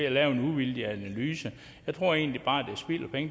at lave en uvildig analyse jeg tror egentlig bare at